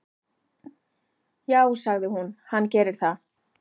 """Já, sagði hún, hann gerir það."""